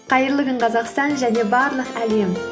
қайырлы күн қазақстан және барлық әлем